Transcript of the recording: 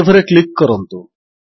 save ରେ click କରନ୍ତୁ